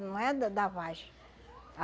Não é da da vagem.